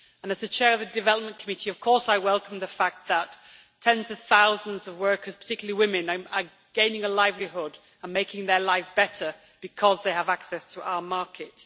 As the Chair of the Development Committee, of course I welcome the fact that tens of thousands of workers particularly women are gaining a livelihood and making their lives better because they have access to our market.